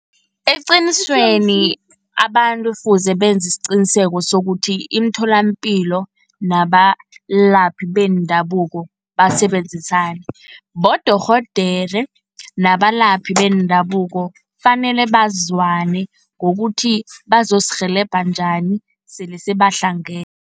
Eqinisweni abantu kufuze benzi isiqiniseko sokuthi, imitholapilo nabalaphi bendabuko basebenzisane. Bodorhodere nabalaphi bendabuko fanele bazwane, ngokuthi bazosirhelebha njani sele sebahlangene.